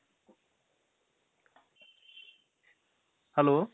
hello.